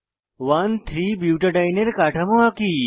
13 butadiene এর কাঠামো আঁকি